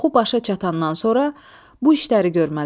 Oxu başa çatandan sonra bu işləri görməlisən.